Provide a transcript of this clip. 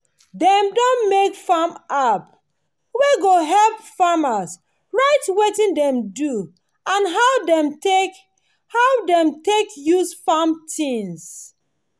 dem don make farm app wey go help farmers write wetin dem do and how dem take how dem take use farm things.